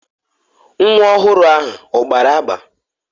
Nwa ọhụrụ ahụ ọ gbara agba?